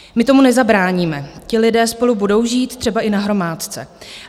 My tomu nezabráníme, ti lidé spolu budou žít, třeba i na hromádce.